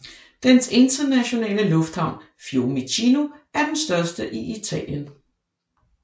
Dens internationale lufthavn Fiumicino er den største i Italien